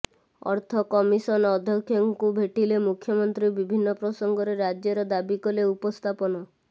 ଅର୍ଥ କମିସନ ଅଧ୍ୟକ୍ଷଙ୍କୁ ଭେଟିଲେ ମୁଖ୍ୟମନ୍ତ୍ରୀ ବିଭିନ୍ନ ପ୍ରସଙ୍ଗରେ ରାଜ୍ୟର ଦାବି କଲେ ଉପସ୍ଥାପନ